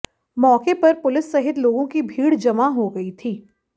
मौके पर पुलिस सहित लोगों की भीड़ जमा हो गई थी